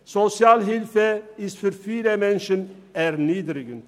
Sozialhilfe ist für viele Menschen erniedrigend.